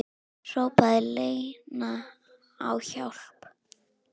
Hrópaði Lena á hjálp?